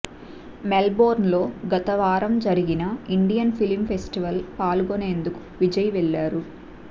మెల్బోర్న్లో గతవారం జరిగిన Indian film festival పాల్గొనేందుకు విజయ్ వెళ్లారు